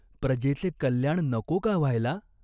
प्रजेचे कल्याण नको का व्हायला ?